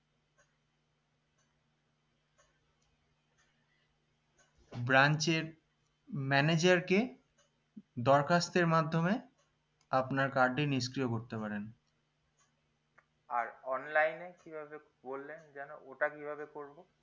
branch এর manager কে দরখাস্তের মাধ্যমে আপনার card টি নিষ্ক্রিয় করতে পারেন